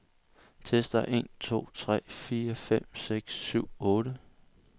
Tester en to tre fire fem seks syv otte.